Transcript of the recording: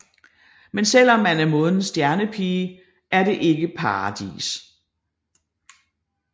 Men selvom man er månedens Stjernepige er det ikke paradis